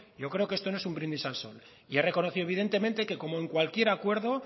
yo creo que esto no es un brindis al sol he reconocido evidentemente que como en cualquier acuerdo